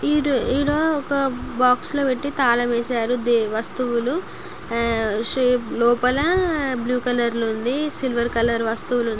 ఈ-ఈడ ఒక బాక్స్ లో పెట్టి తాళం వేసారు వస్తువులు లోపల బ్లూ కలర్ లో ఉంది సిల్వర్ కలర్ వస్తువులు ఉ--